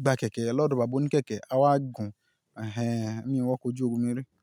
gbà kẹ̀kẹ́ lọ́dọ̀ bàbá òníkẹ̀kẹ́, a wá gùn. Ẹ̀hẹn, èmi ò wọ ọkọ̀ ojú omi rí.